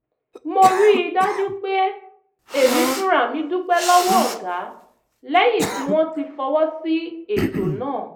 mo rí i dájú pé èmi fúnra mi dúpẹ́ lọ́wọ́ ọ̀gá lẹ́yìn tí wọ́n ti fọwọ́ sí ètò náà